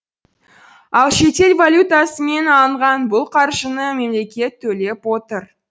ал шетел валютасымен алынған бұл қаржыны мемлекет төлеп отыр